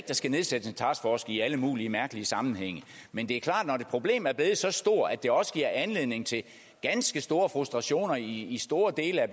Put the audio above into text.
der skal nedsættes en taskforce i alle mulige mærkelige sammenhænge men det er klart at problem er blevet så stort at det også giver anledning til ganske store frustrationer i store dele af